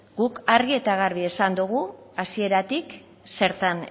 guk argi eta garbi esan dogu hasieratik zertan